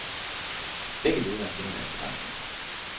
Begge ledere kender deres begrænsning.